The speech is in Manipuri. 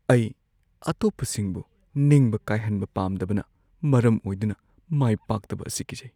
ꯑꯩ ꯑꯇꯣꯞꯄꯁꯤꯡꯕꯨ ꯅꯤꯡꯕ ꯀꯥꯏꯍꯟꯕ ꯄꯥꯝꯗꯕꯅ ꯃꯔꯝ ꯑꯣꯏꯗꯨꯅ ꯃꯥꯏ ꯄꯥꯛꯇꯕ ꯑꯁꯤ ꯀꯤꯖꯩ ꯫